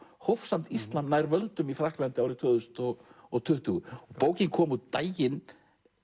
hófsamt íslam nær völdum í Frakklandi árið tvö þúsund og og tuttugu bókin kom út daginn